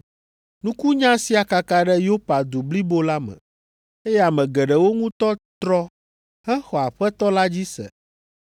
Nukunya sia kaka ɖe Yopa du blibo la me, eye ame geɖewo ŋutɔ trɔ hexɔ Aƒetɔ la dzi se.